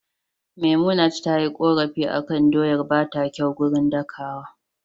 Memunant tayi korafi akan doyar bata kyau gurin dakawa